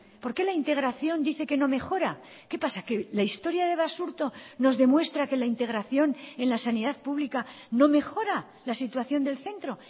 por qué la integración dice que no mejora qué pasa que la historia de basurto nos demuestra que la integración en la sanidad pública no mejora la situación del centro